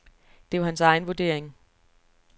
Det er hans egen vurdering.